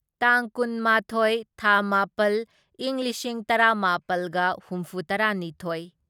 ꯇꯥꯡ ꯀꯨꯟꯃꯥꯊꯣꯢ ꯊꯥ ꯃꯥꯄꯜ ꯢꯪ ꯂꯤꯁꯤꯡ ꯇꯔꯥꯃꯥꯄꯜꯒ ꯍꯨꯝꯐꯨꯇꯔꯥꯅꯤꯊꯣꯢ